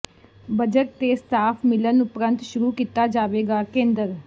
budget ਤੇ staff ਮਿਲਣ ਉਪਰੰਤ ਸ਼ੁਰੂ ਕੀਤਾ ਜਾਵੇਗਾ ਕੇਂਦਰ